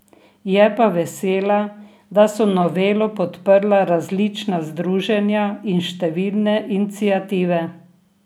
Je pa vesela, da so novelo podprla različna združenja in številne iniciative.